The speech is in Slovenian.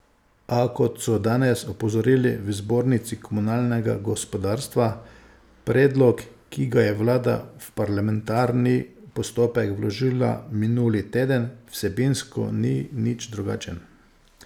A, kot so danes opozorili v Zbornici komunalnega gospodarstva, predlog, ki ga je vlada v parlamentarni postopek vložila minuli teden, vsebinsko ni nič drugačen.